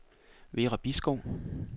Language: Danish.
Vera Bisgaard